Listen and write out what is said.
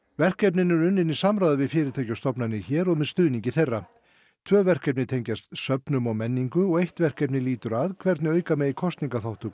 verkefnin eru unnin í samráði við fyrirtæki og stofnanir hér og með stuðningi þeirra tvo verkefni tengjast söfnum og menningu og eitt verkefni lýtur að hvernig auka megi kosningaþátttöku